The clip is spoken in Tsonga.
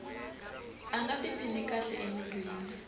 a nga tiphini kahle emirini